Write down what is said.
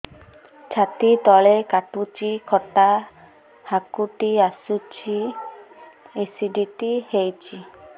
ଛାତି ତଳେ କାଟୁଚି ଖଟା ହାକୁଟି ଆସୁଚି ଏସିଡିଟି ହେଇଚି